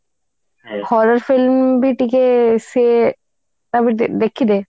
horror film ବି ଟିକେ ସେ ଦେଖିଦେ